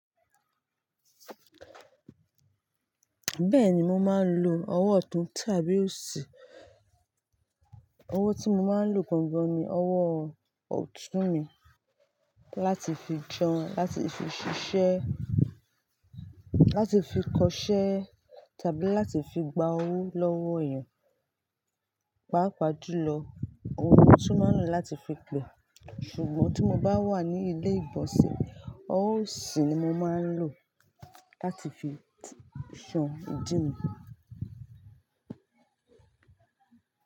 Bẹ́ẹ̀ni mo máa ń lo ọwọ́ ọ̀tún tàbí òsì. Ọwọ́ tí mo máa ń lò gan gan ni ọwọ́ ọ̀tún mi láti fi jẹun, láti fi ṣiṣẹ́, láti fi kọṣẹ́ tàbí láti fi gba owó lọ́wọ́ ènìyàn. Páá pàá jùlọ, ọhun ni mọ̀tún má ń lò láti fi pe. Ṣùgbọ́n tí mo bá wà ní ilé ìgbọ̀nsẹ̀, ọwọ́ òsì ni mo máa ń lò láti fi ṣan ìdí mi.